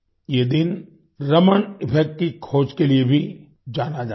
ये दिन रमन इफेक्ट की खोज के लिए भी जाना जाता है